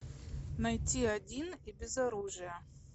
найти один и без оружия